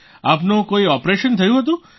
આપનું કોઈ ઓપરેશન થયું હતું